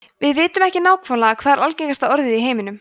við vitum ekki nákvæmlega hvert er algengasta orðið í heiminum